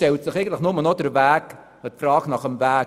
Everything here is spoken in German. Nun stellt sich nur noch die Frage nach dem Weg: